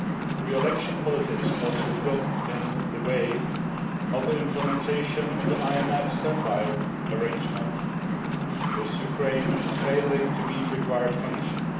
Pre election politics also got in the way of the implementation of the IMF standby arrangement, with Ukraine failing to meet required conditions.